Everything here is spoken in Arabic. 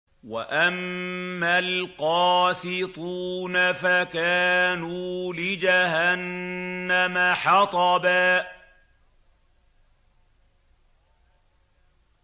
وَأَمَّا الْقَاسِطُونَ فَكَانُوا لِجَهَنَّمَ حَطَبًا